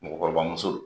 Mɔgɔkɔrɔba muso don